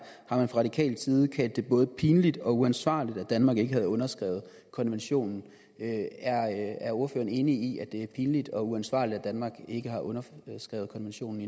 fra radikal side kaldt det både pinligt og uansvarligt at danmark ikke havde underskrevet konventionen er ordføreren enig i at det er pinligt og uansvarligt at danmark ikke har underskrevet konventionen